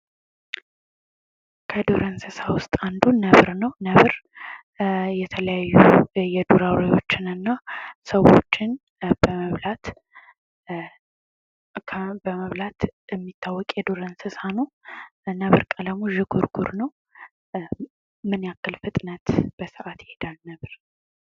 ከዱር እንስሳ ውስጥ አንዱ ነብር ነው ። ነብር የተለያዩ የዱር አውሬዎችን እና ሰዎችን በመብላት የሚታወቅ የዱር እንስሳ ነው ። ነብር ቀለሙ ዥንጉርጉር ነው ። ምን ያክል ፍጥነት በሰዓት ይሄዳል ነብር ?